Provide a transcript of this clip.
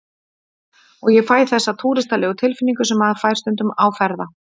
Og ég fæ þessa túristalegu tilfinningu sem maður fær stundum á ferða